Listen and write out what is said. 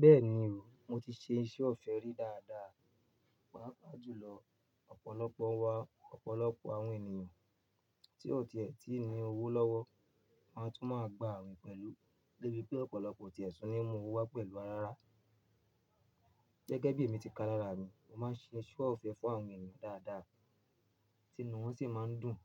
Bẹ́ẹ̀ni o, mo ti ṣe iṣẹ́ ọ̀fẹ́ rí dáadáa, pàápàá jùlọ ọ̀pọ̀lọpọ̀ wa ọ̀pọ̀lọpọ̀ àwọn ènìyàn tí o ti ẹ̀ tí ń ní owó lọ́wọ́ máa tún máa gbà awin pẹ̀lú. Débi pé ọ̀pọ̀lọpọ̀ oti ẹ̀ tún ní ìmú owó wá pẹ̀lú ara rárá. Gẹ́gẹ́ bí èmi ti ka lára mi, mo máa ń ṣe iṣẹ́ ọ̀fẹ́ fún àwọn ènìyàn dáadáa, tinu wọ́n sì máa ń dùn,